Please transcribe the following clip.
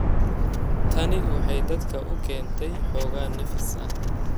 Tani waxay dadka u keentay xoogaa nafis ah.